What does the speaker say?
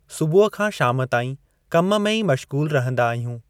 सुबुह खां शाम ताईं कम में ई मश्गूलु रहंदा आहियूं।